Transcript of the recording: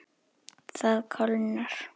Það kólnar.